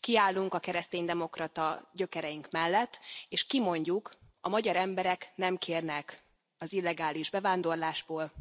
Kiállunk a kereszténydemokrata gyökereink mellett, és kimondjuk a magyar emberek nem kérnek az illegális bevándorlásból,